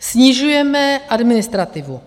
Snižujeme administrativu.